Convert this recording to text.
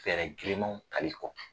Fɛɛrɛ girimaw tali kɔ.